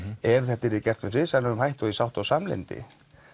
ef þetta yrði gert með friðsamlegum hætti og í sátt og samlyndi